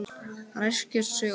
Ræskir sig oft.